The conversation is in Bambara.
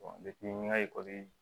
n ka